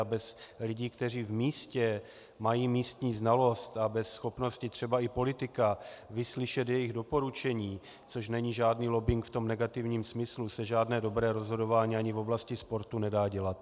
A bez lidí, kteří v místě mají místní znalost, a bez schopnosti třeba i politika vyslyšet jejich doporučení, což není žádný lobbing v tom negativním smyslu, se žádné dobré rozhodování ani v oblasti sportu nedá dělat.